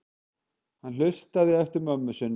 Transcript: Hann hlustaði eftir mömmu sinni.